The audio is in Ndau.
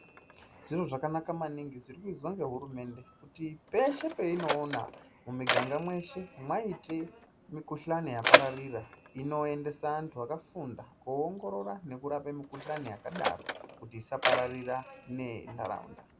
Zviro zvakanaka maningi zvirikuizwa ngehurumende kuti peshe peinoona muminganga meshe maite mikhuhlani yapararira inoendesa antu akafunda koongorora nekurape mikhuhlani yakadaro kuti isapararira nenharaunda.